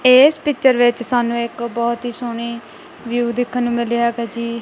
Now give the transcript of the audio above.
ਇਸ ਪਿਕਚਰ ਵਿੱਚ ਸਾਨੂੰ ਇੱਕ ਬਹੁਤ ਹੀ ਸੋਹਣੀ ਵਿਊ ਦੇਖਣ ਨੂੰ ਮਿਲਿਆ ਹੈਗਾ ਜੀ।